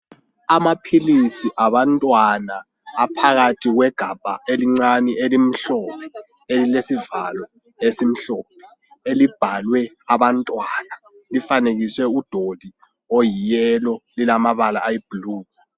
Amaphilisi abantwana aphakathi kwegabha elincane elimhlophe elilesivalo esimhlophe, elibhalwe abantwana. Lifanekiswe udoli oyiyelo, lilamabala ayibhlu.